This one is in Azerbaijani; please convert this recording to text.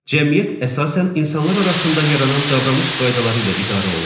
Cəmiyyət əsasən insanlar arasında yaranan davranış qaydaları ilə idarə olunur.